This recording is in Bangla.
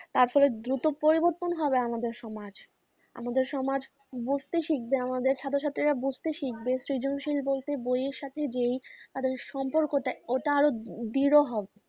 তার পরে দ্রুত পরিবর্তন হবে আমাদের সমাজ. আমাদের সমাজ বুঝতে শিখবে। আমাদের ছাত্রছাত্রীরা বুঝতে শিখবে, সৃজনশীল বলতে বইয়ের সাথে যে আমাদের সম্পর্কটা ওটা আরও দৃঢ় হবে।